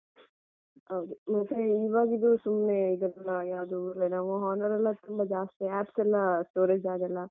ಹೌದು ಮತ್ತೆ ಇವಾಗಿದು ಸುಮ್ನೆ ಇದೆಲ್ಲ ಯಾವ್ದು Lenovo Honor ಎಲ್ಲಾ ತುಂಬಾ ಜಾಸ್ತಿ apps ಎಲ್ಲಾ storage ಆಗಲ್ಲ.